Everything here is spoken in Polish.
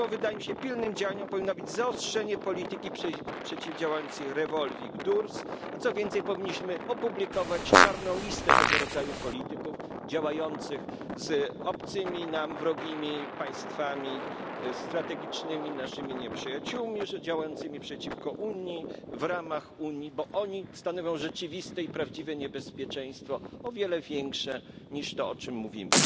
Dlatego wydaje mi się, że pilnym działaniem powinno być zaostrzenie polityki przeciwdziałającej revolving doors a co więcej powinniśmy opublikować czarną listę tego rodzaju polityków działających z obcymi nam, wrogimi państwami, naszymi strategicznymi nieprzyjaciółmi, działającymi przeciwko Unii w ramach Unii, bo oni stanowią rzeczywiste i prawdziwe niebezpieczeństwo, o wiele większe niż to, o czym mówimy.